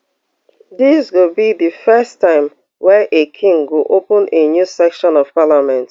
dis go be di first time wey a king go open a new session of parliament